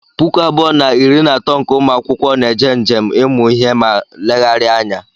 Puku abụọ na iri na atọ nke ụmụakwụkwọ na-eje njem ịmụ ihe ma leghari anya.